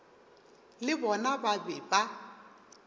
le bona ba be ba